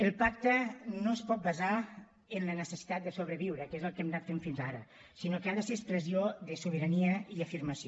el pacte no es pot basar en la necessitat de sobreviure que és el que hem anat fent fins ara sinó que ha de ser expressió de sobirania i afirmació